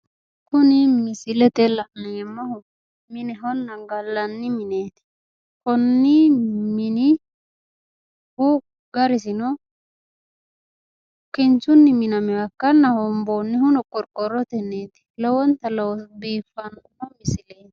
Kuni misilete la'neemmohu minehonna gallanni mineeti. konni minihu garisino kinchunni minaminoha ikkanna hoomboonnihuno qorqqorrotenniiti. lowonta biiffanno.